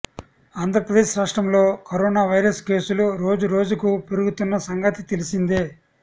ఆంధ్రప్రదేశ్ రాష్ట్రంలో corona virus కేసులు రోజు రోజు కు పెరుగుతున్న సంగతి తెలిసిందే